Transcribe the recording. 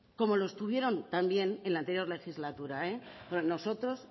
como lo estuvieron también en la anterior legislatura porque a nosotros